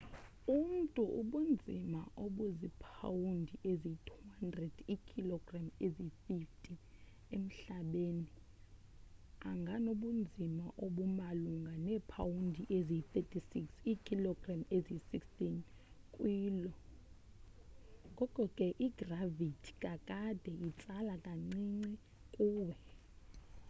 umntu obunzima obuzipawundi eziyi-200 iikhologram eziyi-90 emhlabeni anganobunzima obumalunga neepawundi eziyi-36 iikhilogram eziyi-16 kwi lo. ngoko ke igravithi kakade, itsala kancinci kuwe